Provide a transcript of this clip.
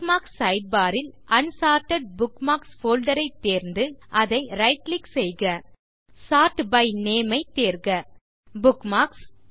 bookmarks sidebar ல் unsorted bookmarks folder ஐத் தேர்ந்து அதை right கிளிக் செய்க சோர்ட் பை நேம் ஐத் தேர்க புக்மார்க்ஸ்